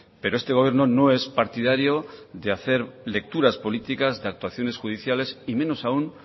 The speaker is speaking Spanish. pero este gobierno no es partidario de hacer lecturas políticas de actuaciones judiciales y menos aún